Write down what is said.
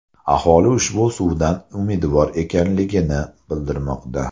Aholi ushbu suvdan umidvor ekanligini bildirmoqda.